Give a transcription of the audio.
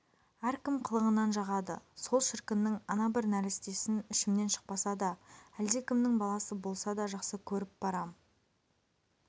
әркім қылығынан жағады сол шіркіннің ана бір нәрестесін ішімнен шықпаса да әлдекімнің баласы болса да жақсы көріп барам